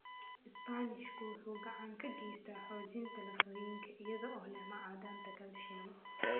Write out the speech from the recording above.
Isbaanishku wuxuu gacan ka geysataa xoojinta lafooyinka iyada oo leh macdanta kalsiyum.